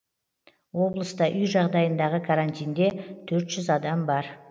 облыста үй жағдайындағы карантинде төрт жүз адам бар